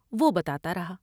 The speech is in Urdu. وہ بتا تا رہا ۔